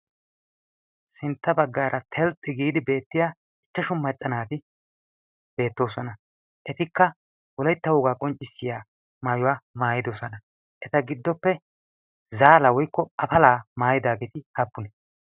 sintta baggaara telxxi giidi beettiya ichchashu maccanaati beettoosana etikka wolettahoogaa qonccissiya maayuwaa maayidosana eta giddoppe zaala woikko afalaa maayidaageeti aappune?